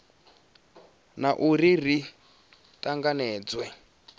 na u ri ri tanganedzwe